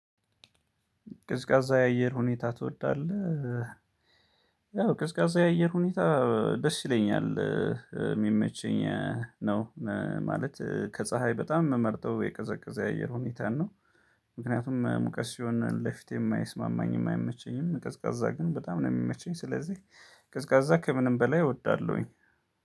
ቅዝቃዛ የአየር ሁኔታ ትወዳለህ? ያው ቅዝቃዛ የአየር ሁኔታ ደስ ይለኛል የሚመቸኝ ነው። ማለት ከፀሀይ በጣም የምመርጠው የቀዘቀዘ የአየር ሁኔታ ነው። ምክንያቱም ሙቀት ሲሆን ለፊቴም አይስማማኝም አይመቸኝም ቀዝቃዛ ግን በጣም ነው የሚመቸኝ። ስለዚህ ቅዝቃዛ ከምንም በላይ እወዳለሁኝ።